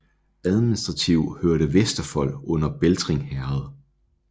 Administrativ hørte Vesterfold under Beltring Herred